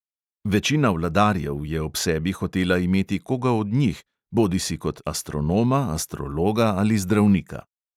Večina vladarjev je ob sebi hotela imeti koga od njih, bodisi kot astronoma, astrologa ali zdravnika.